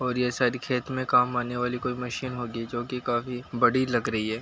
और ये सारी खेत में काम आने वाली कोई मशीन होगी जो कि काफी बड़ी लग रही है।